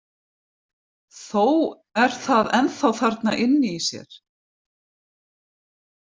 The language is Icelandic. Þó er það ennþá þarna inni í sér.